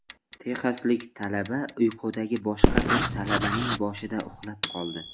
Texaslik talaba uyqudagi boshqa bir talabaning boshida uxlab qoldi .